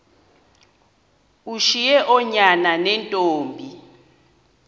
ushiye oonyana neentombi